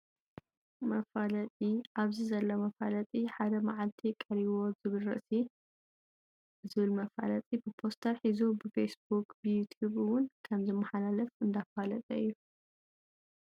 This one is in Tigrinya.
መፋለጢ፦ ኣብዚ ዘሎ መፋለጢ ሓደ ማዓልቲ ቀሪዎ ዝብል ርእሲ ። ዝብል መፋለጢ ብፖስተር ሒዙ ብፌስ ቡኽ ብዩቱብ እውን ከም ዝመሓላለፍ እንዳፋለጠ እዩ።